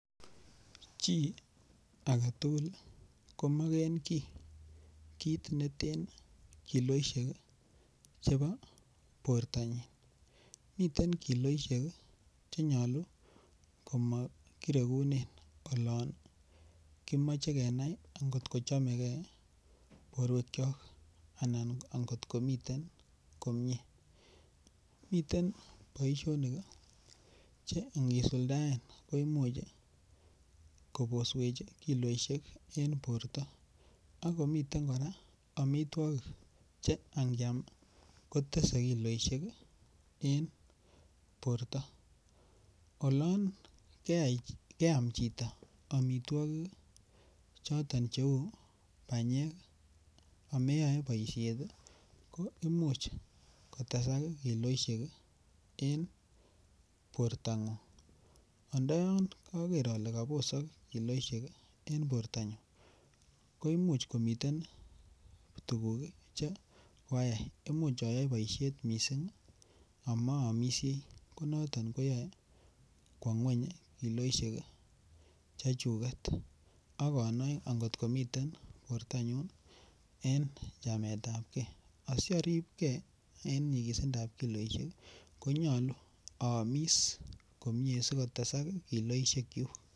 Chi age tugul ko mogen kii kit neten kiloisiek chebo bortanyin miten kiloisiek Che nyolu komakiregunen olon kimoche kenai angot ko kochome borwekyok anan angot komiten komie miten boisionik Che angisuldaen ko Imuch koboswech kiloisiek en borto ak komiten kora amitwogik Che angiam kotese kiloisiek en borto oloon keam chito amitwogik choton Cheu banyek ameyoe boisiet ko Imuch kotesak kiloisiek en bortangung ando yon koger ale kabosok kiloisiek en bortanyun ko Imuch komiten tuguk Che koayai Imuch ayoe boisiet mising amo amisiei ko noton koyoe kwo ngwony kiloisiek chechuget ak anoe angot komiten bortanyun en chameetapgei asi aribge en nyigisindap kiloisiek ko nyolu aamis komie asi kotesak kiloisiek kyuk